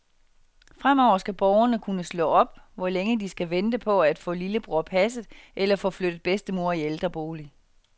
Fremover skal borgerne kunne slå op, hvor længe de skal vente på at få lillebror passet eller få flyttet bedstemor i ældrebolig.